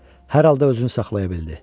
Hər halda özünü saxlaya bildi.